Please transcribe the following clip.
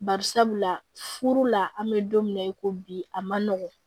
Barisabula furu la an bɛ don min na i ko bi a ma nɔgɔn